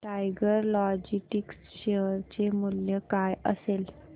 tiger Logistics share चे मूल्य काय असेल